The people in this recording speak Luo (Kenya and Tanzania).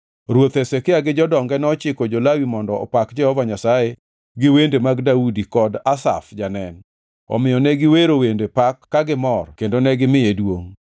Ruoth Hezekia gi jodonge nochiko jo-Lawi mondo opak Jehova Nyasaye gi wende mag Daudi kod Asaf janen. Omiyo ne giwero wende pak ka gimor kendo ka gimiye duongʼ.